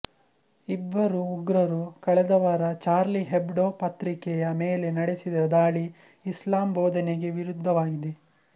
ಇಬ್ಬರು ಉಗ್ರರು ಕಳೆದ ವಾರ ಚಾರ್ಲಿ ಹೆಬ್ಡೊ ಪತ್ರಿಕೆಯ ಮೇಲೆ ನಡೆಸಿದ ದಾಳಿ ಇಸ್ಲಾಂ ಬೋಧನೆಗೆ ವಿರುದ್ಧವಾಗಿದೆ